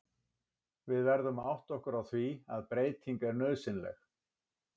Við verðum að átta okkur á því að breyting er nauðsynleg.